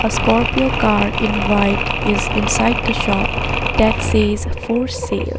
A scorpio car in white is inside the shop that says for sale.